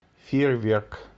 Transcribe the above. фейерверк